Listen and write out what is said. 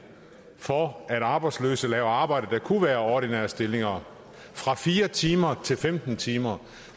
for at arbejdsløse laver arbejde der kunne være ordinære stillinger fra fire timer til femten timer